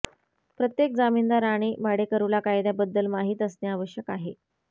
प्रत्येक जमीनदार आणि भाडेकरूला कायद्याबद्दल माहित असणे आवश्यक आहे